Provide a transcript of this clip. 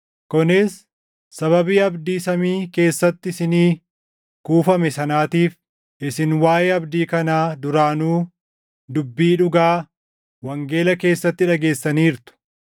kunis sababii abdii samii keessatti isinii kuufame sanaatiif; isin waaʼee abdii kanaa duraanuu dubbii dhugaa, wangeela keessatti dhageessaniirtu;